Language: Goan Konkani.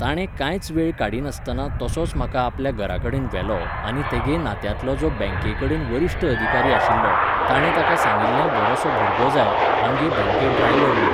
ताणें कांयच वेळ काडीनासतना तसोच म्हाका आपल्या घरा कडेन व्हेलो आनी तेगे नात्यांतलो जो बँकें कडेन वरिश्ट अधिकारी आशिल्लो, ताणें ताका सांगिल्लें बरोसो भुरगो जाय, आमगे बँके ड्रायवर म्हूण.